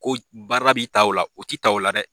Ko baara b'i ta o la o t'i ta o la dɛ